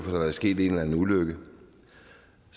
har været sket en eller anden ulykke